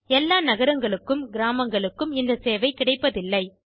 எல்லா நகரங்களுக்கும் கிராமங்களுக்கும் இந்த சேவை கிடைப்பதில்லை